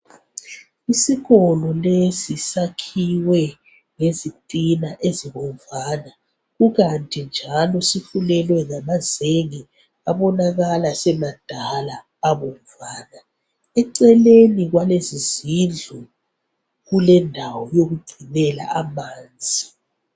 Isikolo lesi sakhiwe ngezitina ezibomvana kukanti njalo sifulelwe ngamazenge abonakala semadala abomvana eceleni kwalezi zindlu kulendawo yokugcinela amanzi.